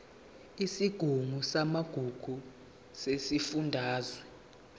isigungu samagugu sesifundazwe